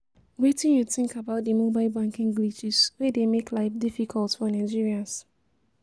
Wetin you think about di mobile banking glitches wey dey make life difficult for Nigerians?